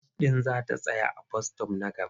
Bas ɗin za ta tsaya a bas-sitop na gaba.